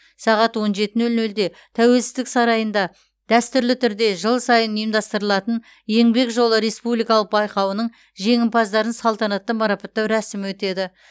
сағат он жеті нөл нөлде тәуелсіздік сарайында дәстүрлі түрде жыл сайын ұйымдастырылатын еңбек жолы республикалық байқауының жеңімпаздарын салтанатты марапаттау рәсімі өтеді